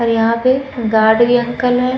और यहाँ पे गार्ड वी अंकल है।